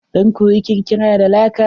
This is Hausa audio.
Zan koyi kirkira da laka.